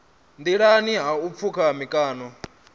nḓilani ha u pfuka mikano